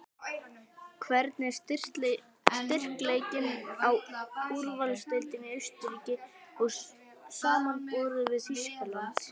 Hvernig er styrkleikinn á úrvalsdeildinni í Austurríki samanborið við Þýskaland?